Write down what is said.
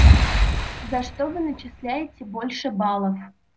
за что вы начисляете больше баллов